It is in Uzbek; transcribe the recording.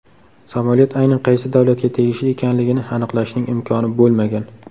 Samolyot aynan qaysi davlatga tegishli ekanligini aniqlashning imkoni bo‘lmagan.